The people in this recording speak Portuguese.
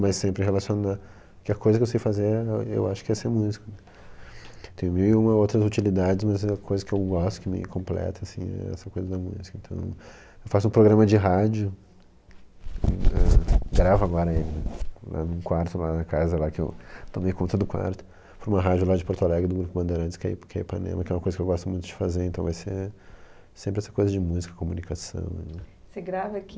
mas sempre relacionar porque a coisa que eu sei fazer é eu acho que é ser músico tem mil e uma outras utilidades mas a coisa que eu gosto que me completa é essa coisa da música então eu faço um programa de rádio, ãh gravo agora em um quarto lá na casa que eu tomei conta do quarto por uma rádio lá de Porto Alegre do grupo Bandeirantes que a ip que a Ipanema que é uma coisa que eu gosto muito de fazer então vai ser sempre essa coisa de música, comunicação você grava aqui e manda pra lá?